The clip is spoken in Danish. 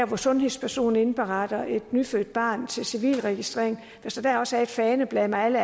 hvor sundhedspersonen indberetter et nyfødt barn til civilregistrering også er et faneblad med alle